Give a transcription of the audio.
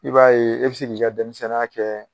I b'a ye e bɛ se k'i ka denmisɛnninya kɛ.